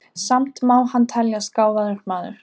Samt má hann teljast gáfaður maður.